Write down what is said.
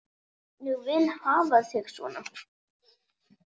Ég vil hafa þig svona.